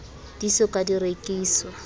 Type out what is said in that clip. di so ka di rekiswa